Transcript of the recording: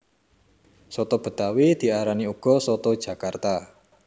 Soto betawi diarani uga soto jakarta